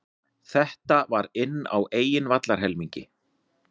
Þetta var inn á eigin vallarhelmingi.